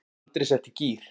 Andri setti í gír.